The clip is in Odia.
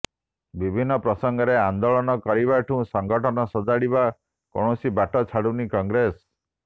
ବିଭିନ୍ନ ପ୍ରସଙ୍ଗରେ ଆନ୍ଦୋଳନ କରିବାଠୁ ସଙ୍ଗଠନ ସଜାଡିବା କୌଣସି ବାଟ ଛାଡୁନି କଂଗ୍ରେସ